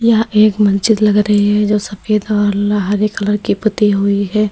यह एक मस्जिद लग रही है जो सफेद और हरे कलर की पुती हुई है।